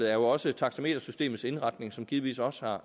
er jo også taxametersystemets indretning som givetvis også har